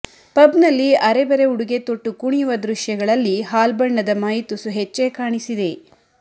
ಪಬ್ನಲ್ಲಿ ಅರೆಬರೆ ಉಡುಗೆ ತೊಟ್ಟು ಕುಣಿಯುವ ದೃಶ್ಯಗಳಲ್ಲಿ ಹಾಲ್ಬಣ್ಣದ ಮೈ ತುಸು ಹೆಚ್ಚೇ ಕಾಣಿಸಿದೆ